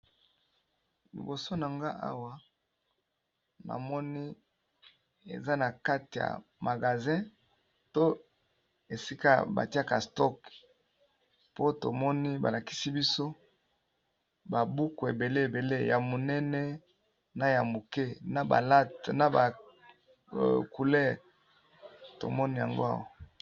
Liboso na nga awa ,namoni eza na kate ya magazin to esika batiaka stock po tomoni balakisi biso, ba buku ebele ya monene na ya moke na ba late na ba couleur tomoni yango awa.